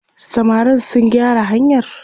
samarin sun gyara hanyar?